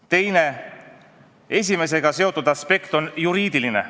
Teine, esimesega seotud aspekt on juriidiline.